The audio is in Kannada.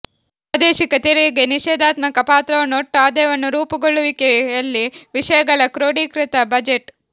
ಪ್ರಾದೇಶಿಕ ತೆರಿಗೆ ನಿಷೇಧಾತ್ಮಕ ಪಾತ್ರವನ್ನು ಒಟ್ಟು ಆದಾಯವನ್ನು ರೂಪುಗೊಳ್ಳುವಿಕೆಯಲ್ಲಿ ವಿಷಯಗಳ ಕ್ರೋಡೀಕೃತ ಬಜೆಟ್